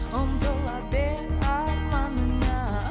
ұмтыла бер арманыңа